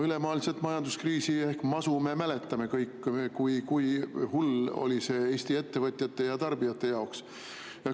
Ülemaailmset majanduskriisi ehk masu me mäletame kõik – kui hull oli see Eesti ettevõtjate ja tarbijate jaoks.